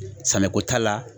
Samiyako ta la.